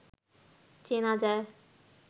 চেনা যায়